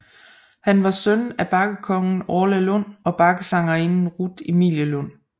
Han var søn af bakkekongen Orla Lund og bakkesangerinden Rut Emilie Lund